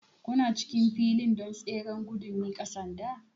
Kuna cikin filin don tseren gudun miƙa sanda?